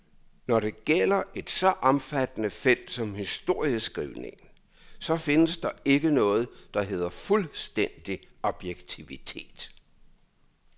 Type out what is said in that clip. Når det gælder et så omfattende felt som historieskrivningen, så findes der ikke noget, der hedder fuldstændig objektivitet.